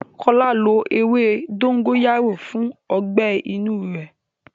Kọ́lá lo ewé dógóyárò fún ọgbẹ́ inú rẹ̀.